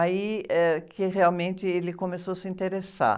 Aí, eh, que realmente ele começou a se interessar.